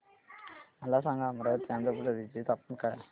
मला सांगा अमरावती आंध्र प्रदेश चे तापमान काय आहे